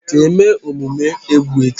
ka eme omume egwu echi.